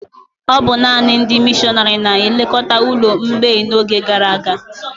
Ọ bụ nanị ndị mịshọnárì na-elekọta ụlọ mgbei n'oge gara aga